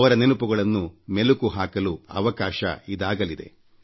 ಅವರ ನೆನಪುಗಳನ್ನು ಮೆಲುಕು ಹಾಕಲು ಅವಕಾಶ ಸಿಗಲಿದೆ